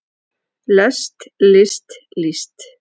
lest list líst